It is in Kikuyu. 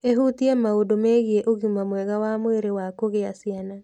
ĩhutie maũndũ megiĩ ũgima mwega wa mwĩrĩ wa kugĩa ciana.